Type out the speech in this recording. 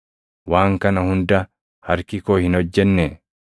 Waan kana hunda harki koo hin hojjennee?’ + 7:50 \+xt Isa 66:1,2\+xt*